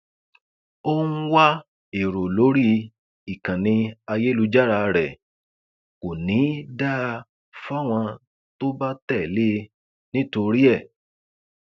ó ń wá èrò lórí ìkànnì ayélujára rẹ kò ní í dáa fáwọn tó bá tẹlé e nítorí ẹ